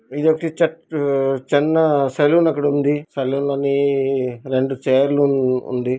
ఇదొక చిన్న సెలూన్ అక్కడ ఒకటి ఉంది. సెలూన్ లో రెండు చైర్లు ఉంది.